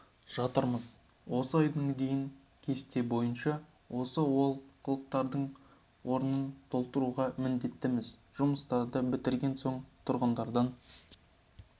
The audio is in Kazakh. жатырмыз осы айдың дейін кесте бойынша осы олқылықтардың орнын толтыруға міндеттіміз жұмыстарды бітірген соң тұрғындардан